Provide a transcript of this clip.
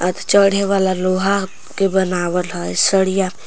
चढ़े वला लोहा के बनावल है साड़िया--